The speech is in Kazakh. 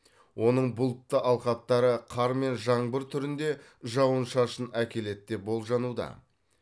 оның бұлтты алқаптары қар мен жаңбыр түрінде жауын шашын әкеледі деп болжануда